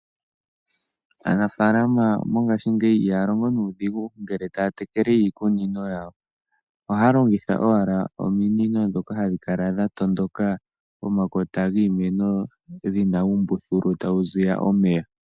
Aanafalama mongashingeyi ihaya longo nuudhigu ngele taya tekele iikunino yawo. Ohaya longitha owala ominino ndhoka hadhi kala dhatondoka pomakota giimeno dhina uumbuthulu tawu ziya omeya.